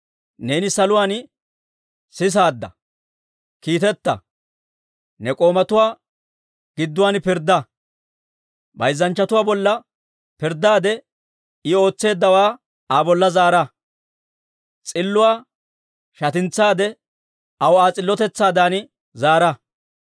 neeni saluwaan sisaadde; kiiteta. Ne k'oomatuwaa gidduwaan pirddaa. Bayzzanchchatuwaa bolla pirddaade, I ootseeddawaa Aa bolla zaara; s'illuwaa shatintsaade, aw Aa s'illotetsaadan zaara.